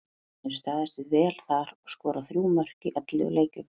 Hann hefur staðið sig vel þar og skorað þrjú mörk í ellefu leikjum.